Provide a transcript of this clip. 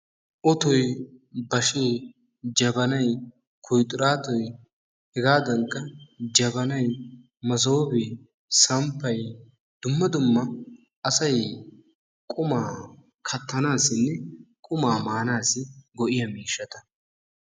Ottoy, bashee, jabbanay, kuyxxiraattoy, hegaadankka jabbanay, masooppee, samppay, dumma dumma asay qummaa kattanaassinne qummaa maanaassi go'iya miishshata.